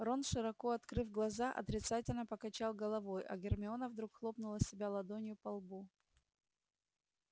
рон широко открыв глаза отрицательно покачал головой а гермиона вдруг хлопнула себя ладонью по лбу